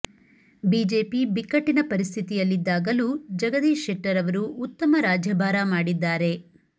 BJP ಬಿಕ್ಕಟ್ಟಿನ ಪರಿಸ್ಥಿತಿಯಲ್ಲಿದ್ದಾಗಲೂ ಜಗದೀಶ್ ಶೆಟ್ಟರ್ ಅವರು ಉತ್ತಮ ರಾಜ್ಯಭಾರ ಮಾಡಿದ್ದಾರೆ